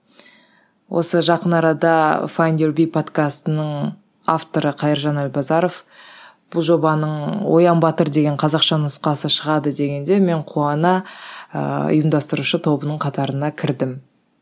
осы жақын арада файндюрби подкастының авторы қайыржан әлбазаров бұл жобаның оян батыр деген қазақша нұсқасы шығады дегенде мен қуана ыыы ұйымдастырушы тобының қатарына кірдім